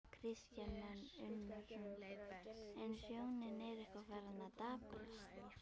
Kristján Már Unnarsson: En sjónin er eitthvað farin að daprast?